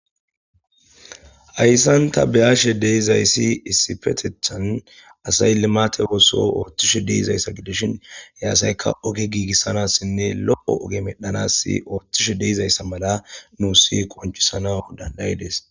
ayssanta beyashe deizayssi issifetethan asay limaate ooso ooththishe deizayssa gidishin he asayka oge giigissanassinne lo7o oge medhanassi ooththishe deizayssa mala nuusi koncisana dandayides